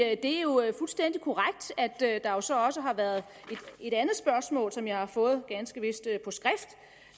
at det jo er fuldstændig korrekt at der også også har været et andet spørgsmål som jeg ganske vist